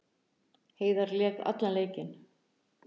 Heiðar lék allan leikinn